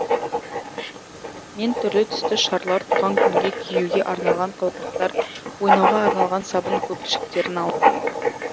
мен түрлі түсті шарлар туған күнге киюге арналған қалпақтар ойнауға арналған сабын көпіршіктерін алдым